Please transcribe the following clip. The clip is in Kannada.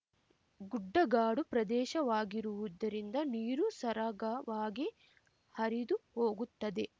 ಗುಡ್ಡಗಾಡು ಪ್ರದೇಶವಾಗಿರುವುದರಿಂದ ನೀರು ಸರಾಗವಾಗಿ ಹರಿದು ಹೋಗುತ್ತದೆ